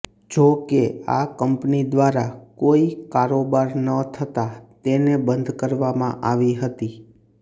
જોકે આ કંપની દ્વારા કોઈ કારોબાર ન થતાં તેને બંધ કરવામાં આવી હતી